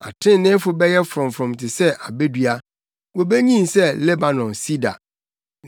Atreneefo bɛyɛ frɔmfrɔm te sɛ abedua, wobenyin sɛ Lebanon sida;